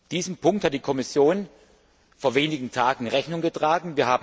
Diesem Punkt hat die Kommission vor wenigen Tagen Rechnung getragen.